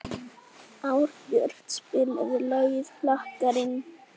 Árbjört, spilaðu lagið „Flakkarinn“.